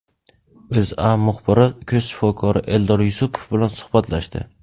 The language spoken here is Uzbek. O‘zA muxbiri ko‘z shifokori Eldor Yusupov bilan suhbatlashdi .